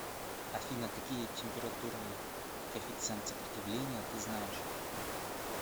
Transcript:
афина какие температурный коэффициент сопротивления ты знаешь